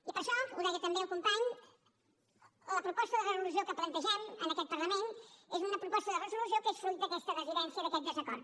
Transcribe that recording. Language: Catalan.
i per això ho deia també el company la proposta de resolució que plantegem en aquest parlament és una proposta de resolució que és fruit d’aquesta dissidència i d’aquest desacord